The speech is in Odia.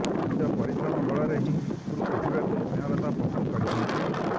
ନିଜ ପରିଶ୍ରମ ବଳରେ ହିଁ ଉପରକୁ ଉଠିବାକୁ ସ୍ନେହଲତା ପସନ୍ଦ କରିଥାନ୍ତି